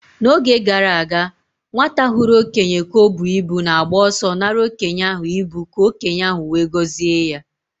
N'oge gara aga, nwata hụrụ okenye ka o bu ibu na-agba ọsọ nara okenye ahụ ibu ka okenye ahụ wee gozie ya.